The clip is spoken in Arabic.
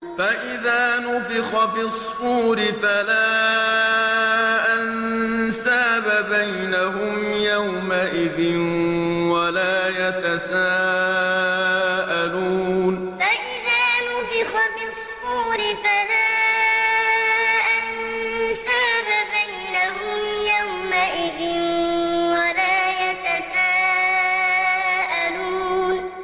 فَإِذَا نُفِخَ فِي الصُّورِ فَلَا أَنسَابَ بَيْنَهُمْ يَوْمَئِذٍ وَلَا يَتَسَاءَلُونَ فَإِذَا نُفِخَ فِي الصُّورِ فَلَا أَنسَابَ بَيْنَهُمْ يَوْمَئِذٍ وَلَا يَتَسَاءَلُونَ